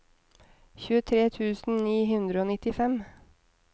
tjuetre tusen ni hundre og nittifem